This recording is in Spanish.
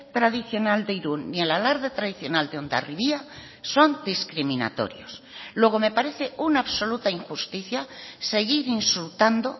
tradicional de irún ni el alarde tradicional de hondarribia son discriminatorios luego me parece una absoluta injusticia seguir insultando